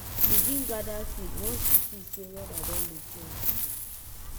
begin gather feed once you see say weada don dey change.